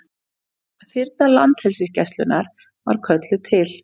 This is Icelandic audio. Þyrla Landhelgisgæslunnar var kölluð til